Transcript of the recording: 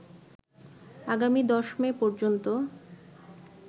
আগামী ১০ মে পর্যন্ত